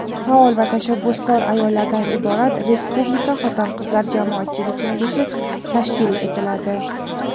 faol va tashabbuskor ayollardan iborat Respublika Xotin-qizlar jamoatchilik kengashi tashkil etiladi.